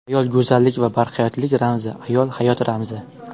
Ayol go‘zallik va barhayotlik ramzi Ayol hayot ramzi.